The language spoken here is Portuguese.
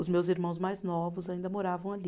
Os meus irmãos mais novos ainda moravam ali.